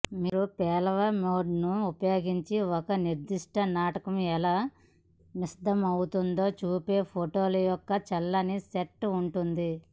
మీరు పేలవ మోడ్ను ఉపయోగించి ఒక నిర్దిష్ట నాటకం ఎలా విశదమవుతుందో చూపే ఫోటోల యొక్క చల్లని సెట్ ఉంటుంది